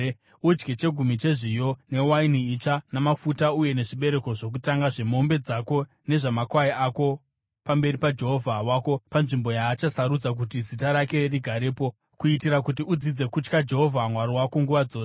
Udye chegumi chezviyo, newaini itsva namafuta uye nezvibereko zvokutanga zvemombe dzako nezvamakwai ako pamberi paJehovha Mwari wako panzvimbo yaachasarudza kuti Zita rake rigarepo, kuitira kuti udzidze kutya Jehovha Mwari wako nguva dzose.